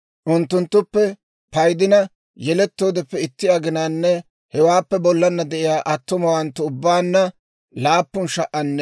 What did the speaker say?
Unttunttuppe paydina, yelettoodeppe itti aginanne hewaappe bollana de'iyaa attumawanttu ubbaanna 7,500.